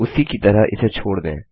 उसी की तरह इसे छोड़ दें